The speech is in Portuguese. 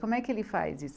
Como é que ele faz isso?